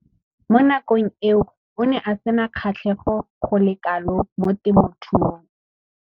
Mo nakong eo o ne a sena kgatlhego go le kalo mo temothuong.